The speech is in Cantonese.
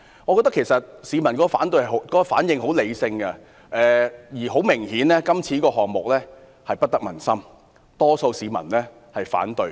我認為市民的反應十分理性，這個項目顯然不得民心，多數市民均表示反對。